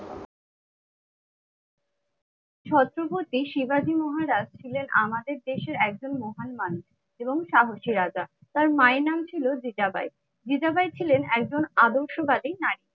ছত্রপতি শিবাজী মহারাজ ছিলেন আমাদের দেশের একজন মহান মালিক এবং সাহসী রাজা। তার মায়ের নাম ছিল জিজাবাই। জিজাবাই ছিলেন একজন আদর্শবাদী নারী।